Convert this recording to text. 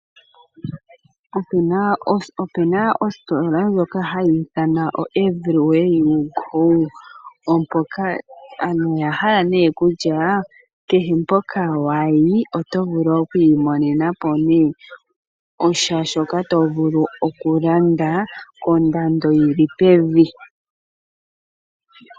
Opuna oositola ndjoka hayi ithanwa oEverywhere you go , aantu yahala kutya kehe mpoka wayi oto vulu okwiimonenapo shaashoka tovulu okulanda kondando yili pevi.